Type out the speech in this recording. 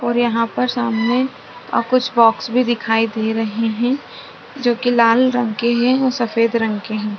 और यहाँ पर सामने कुछ बॉक्स भी दिखाई दे रहे है जो की लाल रंग के है और सफ़ेद रंग के है।